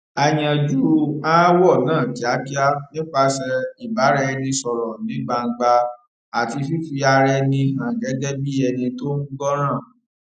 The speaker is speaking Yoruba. a yanjú aáwò náà kíákíá nípasè ìbáraẹnisòrò ní gbangba àti fífi ara ẹni hàn gégé bí ẹni tó ń gbọràn